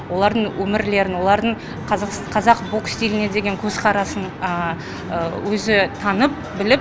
олардың өмірлерін олардың қазақ бокс стиліне деген көзқарасын өзі танып біліп